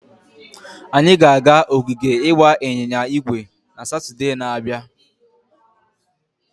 Anyị ga-aga ogige ịgba ịnyịnya ígwè na Satọde na-abịa.